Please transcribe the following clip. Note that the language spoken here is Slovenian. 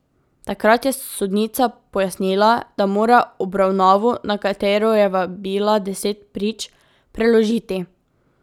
Takrat je sodnica pojasnila, da mora obravnavo, na katero je vabila deset prič, preložiti.